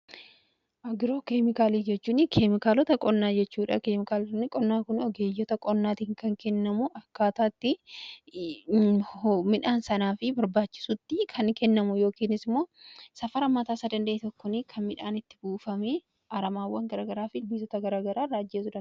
Agroo keemikaalii jechuun keemikaalota qonnaa jechuudha. Keemikaalonni qonnaa kun ogeeyyota qonnaatiin kan kennamu akkaataatti midhaan sanaa fi barbaachisutti kan kennamu yookiinis immoo safara mataasaa danda'e tokkoon kan midhaan itti buufamee aramaawwan gara garaa fi ilbiisota gara garaa irraa ajjeesudha.